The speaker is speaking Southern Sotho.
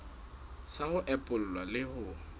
sa ho epolla le ho